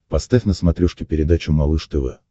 поставь на смотрешке передачу малыш тв